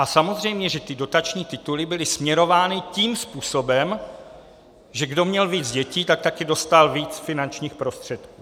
A samozřejmě že ty dotační tituly byly směrovány tím způsobem, že kdo měl víc dětí, tak také dostal víc finančních prostředků.